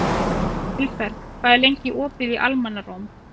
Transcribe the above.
Vilberg, hvað er lengi opið í Almannaróm?